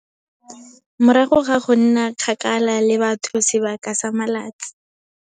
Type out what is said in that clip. Morago ga go nna kgakala le batho sebaka sa matsatsi.